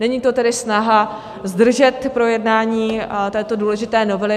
Není to tedy snaha zdržet projednání této důležité novely.